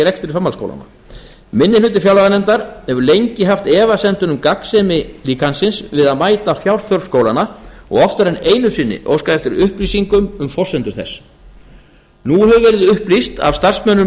rekstri framhaldsskólanna minni hluti fjárlaganefndar hefur lengi haft efasemdir um gagnsemi líkansins við að mæta fjárþörf skólanna og oftar en einu sinni óskað eftir upplýsingum um forsendur þess nú hefur verið upplýst af starfsmönnum